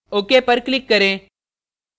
ok पर click करें